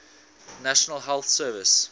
national health service